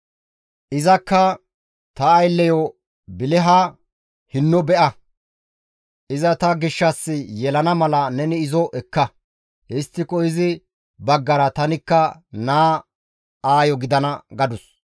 Izakka, «Ta aylleyo Biliha hinno be7a; iza ta gishshas yelana mala neni izo ekka; histtiko izi baggara tanikka naa aayo gidana» gadus.